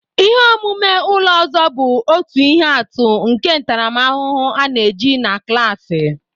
Ihe omume ụlọ ọzọ bụ otu ihe atụ nke ntaramahụhụ a na-eji na klaasị.